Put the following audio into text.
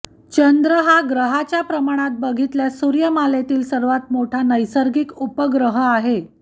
चंद्र हा ग्रहाच्या प्रमाणात बघितल्यास सूर्यमालेतील सर्वांत मोठा नैसर्गिक उपग्रह आहे